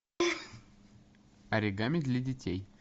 оригами для детей